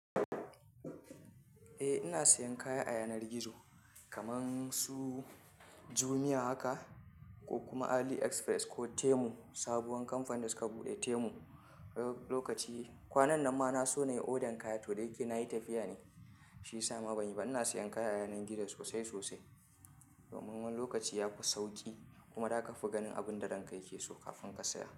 Eh ina sayan kaya a yanar gizo kaman su Jumia haka ko kuma AliExpress ko Temu, sabuwar kamfani da suka buɗe Temu. Lokaci kwanan nan ma na so na yi odan kaya toh dayake na yi tafiya ne, shi ya sa ma ban yi ba. Ina sayan kaya a yanar gizo sosai sosai. Domin wani lokaci ya fi sauƙi kuma da ka fi ganin abin da ranka yake so kafin ka saya.